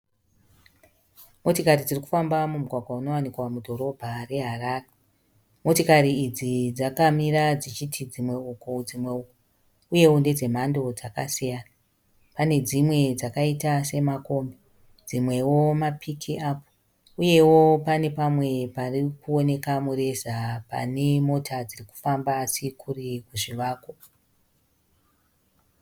Motikari dziri kufamba mumugwagwa unowanikwa mudhorobha reHarare. Motokari idzi dzakamira dzichiti dzimwe uku, dzimwe uku uyewo ndedze mhando dzakasiyana. Pane dzimwe dzakaita semakombi, dzimwewo mapiki apu uyewo pane pamwe pari kuoneka mureza pane mota dziri kufamba dziri kure kuzvivako.